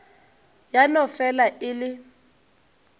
ya no fela e le